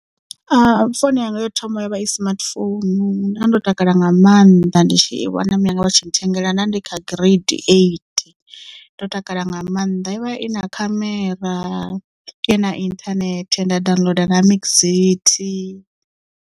Founu yanga yo thoma yo vha i smartphone nda ndo takala nga maanḓa ndi tshi i wana mianga vha tshi nthengela nda ndi kha grade eight ndo takala nga maanḓa yo vha i na khamera i na inthanethe nda downloader na Mxit.